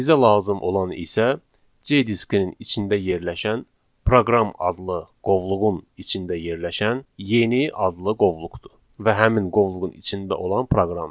Bizə lazım olan isə C diskinin içində yerləşən proqram adlı qovluğun içində yerləşən yeni adlı qovluqdur və həmin qovluğun içində olan proqramdır.